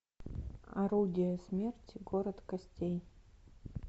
орудие смерти город костей